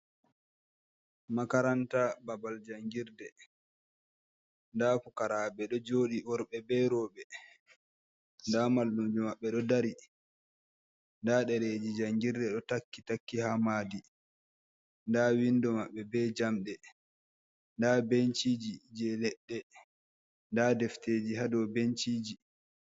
Makaranta babal janngirde, ndaa pukaraaɓe ɗo jooɗi, worɓe be rowɓe. Ndaa mallumjo maɓɓe ɗo dari, ndaa ɗereeji janngirde, ɗo takki takki haa maadi, ndaa winndo maɓɓe be jamɗe. Ndaa benciiji jey leɗɗe, ndaa defteeji haa dow benciiji.